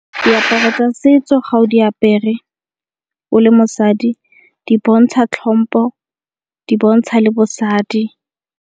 Diaparo tsa setso ga o di apere o le mosadi di bontsha tlhompho di bontsha le bosadi.